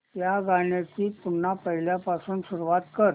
या गाण्या ची पुन्हा पहिल्यापासून सुरुवात कर